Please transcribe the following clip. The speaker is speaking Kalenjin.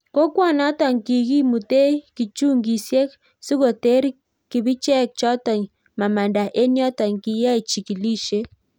Kokwanotok kikimutee kichungisiek sikoter kibicheek chotok mamandaa eng yotok kikiyae chikilisiet